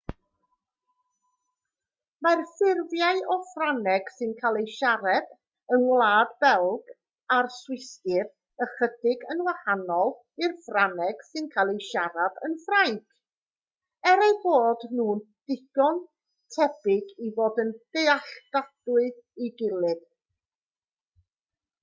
mae'r ffurfiau o ffrangeg sy'n cael eu siarad yng ngwlad belg a'r swistir ychydig yn wahanol i'r ffrangeg sy'n cael ei siarad yn ffrainc er eu bod nhw'n ddigon tebyg i fod yn ddealladwy i'w gilydd